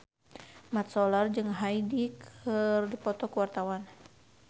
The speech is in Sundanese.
Mat Solar jeung Hyde keur dipoto ku wartawan